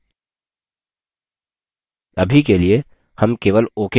अभी के लिए हम केवल ok button पर click करेंगे